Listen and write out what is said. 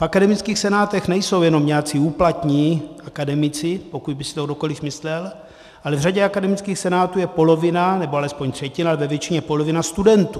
V akademických senátech nejsou jenom nějací úplatní akademici, pokud by si to kdokoliv myslel, ale v řadě akademických senátů je polovina, nebo alespoň třetina, ve většině polovina studentů.